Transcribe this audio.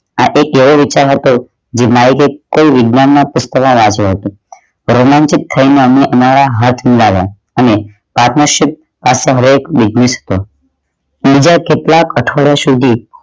આ એક એવો વિચાર હતો જે થઈ વિજ્ઞાન ના પુસ્ત માં વાંચ્યું હતું પરિણામીત થઈ મારા હાથ માં આવ્યા અને પાદર્શિત વિશિસ્ટ બીજા કેટલાક અઠવાડિયા સુધી